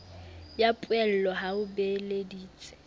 ya poello ha o beeleditse